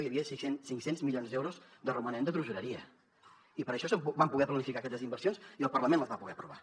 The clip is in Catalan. hi havia cinc cents milions d’euros de romanent de tresoreria i per això vam poder planificar aquestes inversions i el parlament les va poder aprovar